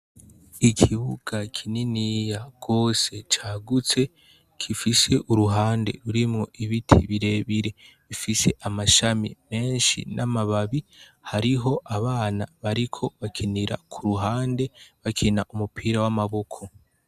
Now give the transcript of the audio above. Ikibuga kinini gose cagutse, gifise uruhande rurrimwo ibiti birebire bifise amashami menshi n'amababi, hariho abana bariko bakinira ku ruhande, bakina umupira w'amaboko.